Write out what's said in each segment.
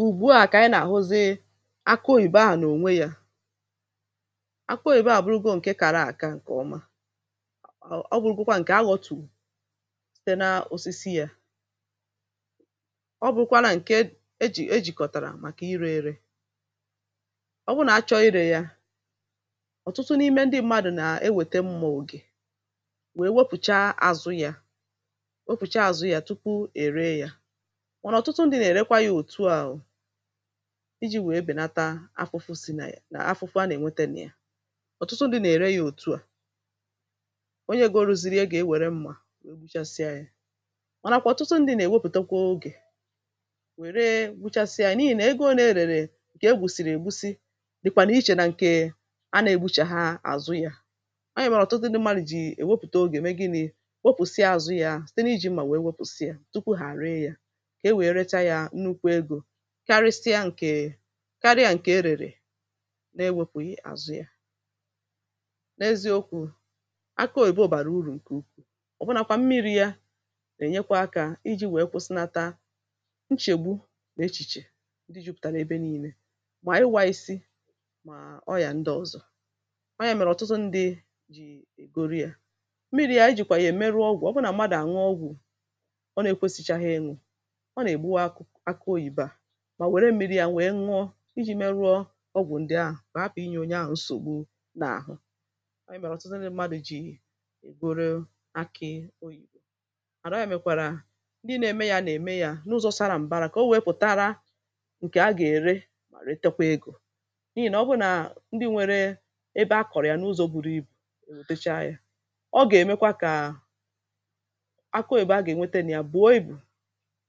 ùgbu a kà ànyị na-ahụ zi akụ oyìbo ahụ̀ n’ònwe yȧ akụ oyìbo abụrụgo ǹke kara àka ǹkè ọma ọ bụ̀ ụkwụkwa ǹkè aghọ̀tùte na osisi yȧ ọ bụ̀kwara ǹke ejì ejìkọ̀tàrà màkà irė irė ọ bụ nà a chọọ irė yȧ ọ̀tụtụ n’ime ndị mmadụ̀ nà e wète mmà ògè wee wepùcha àzụ yȧ wepùcha àzụ yȧ tupu è ree yȧ iji̇ wèe bènata afụfụ si̇ nà ya nà afụfụ a nà-ènwete nà ya ọ̀tụtụ ndị̇ nà-ère ya òtu à onye gi o ru̇ziri ya gà-ewère mmȧ mànàkwà ọ̀tụtụ ndị̇ nà-èwepùtekwa ogè wèree gbuchasịa anyị n’ihì nà ego ole èrèrè ǹkè egbùsìrì ègusi dìkwà nà ichèrè ǹke a nà-ègbuchè ha àzụ yȧ ọ̀nyèwèrè ọ̀tụtụ ndị̇ mmȧlụ̇ jì èwepùte ogè mee gịnị̇ wopùsịa àzụ ya site n’iji̇ m̀mà wèe wopùsịa tupu hà àrịa ya karịa ǹkè karịa ǹke erère na-ewepù i azụ̇ ya n’ezi okwu̇ aka òyìbo bàrà urù ǹke ukwuù ọ̀bụnàkwà mmiri̇ ya nà-ènyekwa akȧ iji̇ wèe kwụsịnata nchègbu nà echìchè ndị jupùtara n’ebe nii̇nė mà iwa isi̇ mà ọyà ndị ọzọ̀ ọyà è mèrè ọ̀tụtụ ndị è goro yȧ mmiri̇ ya ijìkwà yà è meru ọgwụ̀ ọbụnà mmadụ̀ àṅụ ọgwụ̀ ọ nà-èkwesichaa ha enù mà wère mmi̇ri̇ yȧ nwèe nwọ iji̇ meruo ọgwụ̀ ndị ahụ̀ mà hapụ̀ inyė onye ahụ̀ nsògbu n’àhụ ọ yì mèrọ̀ọ̀tụzịnị̇ mmadụ̀ jì èburu akị oyìbo àrọọ yȧ mekwàrà ndị na-eme yȧ nà-eme yȧ n’ụzọ sara m̀bara kà o wėepùtara ǹkè a gà-ère re tẹkwa egȯ n’ihì nà ọ bụrụ nà ndị nwere ebe a kọ̀rọ̀ yà n’ụzọ buru ibù ò tacha yȧ ọ gà-èmekwa kà akụ òbe a gà-ènwete nà ya bùo ibù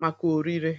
màkà òri ree